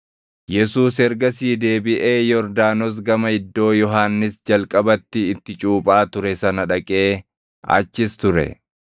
Yesuus ergasii deebiʼee Yordaanos gama iddoo Yohannis jalqabatti itti cuuphaa ture sana dhaqee achis ture.